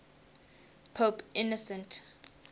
pope innocent